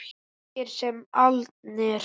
Ungir sem aldnir.